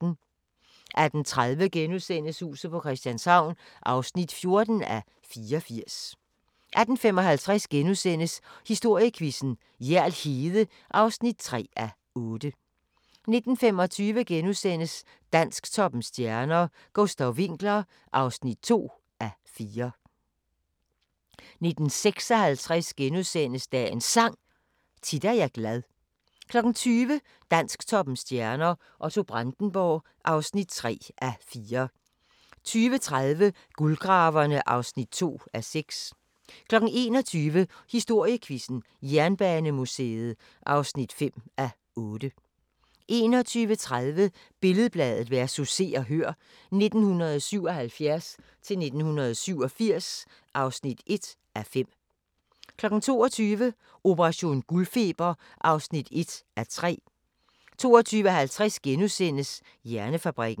18:30: Huset på Christianshavn (14:84)* 18:55: Historiequizzen: Hjerl Hede (3:8)* 19:25: Dansktoppens stjerner: Gustav Winckler (2:4)* 19:56: Dagens Sang: Tit er jeg glad * 20:00: Dansktoppens stjerner: Otto Brandenburg (3:4) 20:30: Guldgraverne (2:6) 21:00: Historiequizzen: Jernbanemuseet (5:8) 21:30: Billed-Bladet vs. Se og Hør (1977-1987) (1:5) 22:00: Operation guldfeber (1:3) 22:50: Hjernefabrikken *